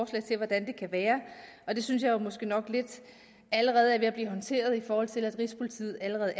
til hvordan det kan være og det synes jeg måske nok lidt allerede er ved at blive håndteret i forhold til at rigspolitiet allerede